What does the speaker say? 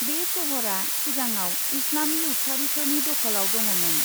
बे शहरा सिगाङाव इस्लामी उतखारिफोरनि दखलाव दङ'मोन ।